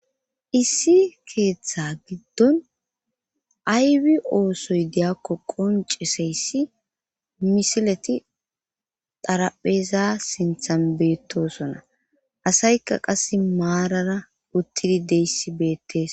Issi keeththa giddon aywi oosoy deyakko qonceseyssi misileti darapheza sinthan beettosona asaykka qase maarara uttidi deyssi beettes